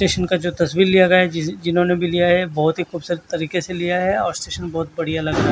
station का जो तस्वीर लिया गया है जी जिन्होंने भी लिया है बहोत ही खूबसूरत तरीके से लिया है और स्टेशन बहोत बढ़िया लग रहा--